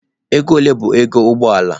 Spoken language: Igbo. Ego ole bụ ego ụgbọ ala?